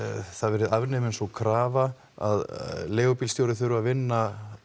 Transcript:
það verði afnumin sú krafa að leigubílstjóri þurfi að vinna